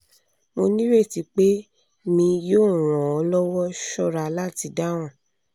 mo nireti pe mi yoo ran ọ lọwọ ṣọra lati dahun